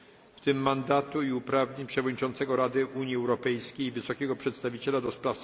w tym mandatu i uprawnień Przewodniczącego Rady Unii Europejskiej, Wysokiego Przedstawiciela ds.